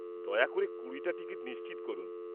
দয়া করে কুড়িটা টিকিট নিশ্চিত করুন।